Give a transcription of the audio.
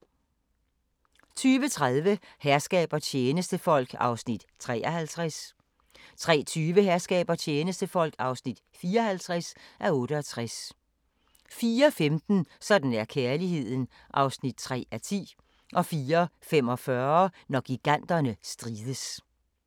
02:30: Herskab og tjenestefolk (53:68) 03:20: Herskab og tjenestefolk (54:68) 04:15: Sådan er kærligheden (3:10) 04:45: Når giganterne strides